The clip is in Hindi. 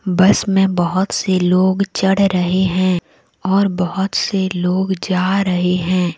बस में बहोत से लोग चढ़ रहे हैं और बहोत से लोग जा रहे हैं।